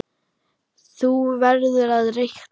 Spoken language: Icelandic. Þú verður að reikna